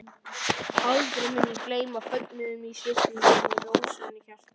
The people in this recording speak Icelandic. Aldrei mun ég gleyma fögnuðinum í svipnum og rósemi hjartans.